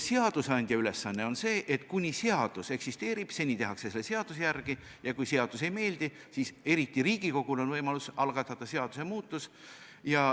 Aga seni, kuni seadus eksisteerib, tehakse seaduse järgi, ja kui seadus ei meeldi, siis on Riigikogul võimalus algatada seadusemuudatus.